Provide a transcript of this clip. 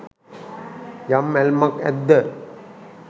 යම් ඇල්මක් ඇද්ද